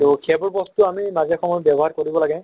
তʼ সেইবোৰ বস্তু আমি মাজে সময়ে ব্য়ৱহাৰ কৰিব লাগে